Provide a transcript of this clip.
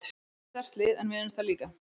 Þetta er sterkt lið en við erum það líka.